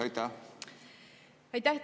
Aitäh!